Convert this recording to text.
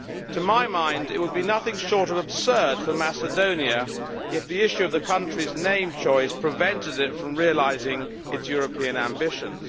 To my mind it would be nothing short of absurd for Macedonia if the issue of the country's name choice prevented it from realising its European ambitions.